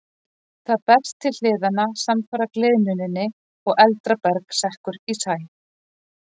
Það berst til hliðanna samfara gliðnuninni og eldra berg sekkur í sæ.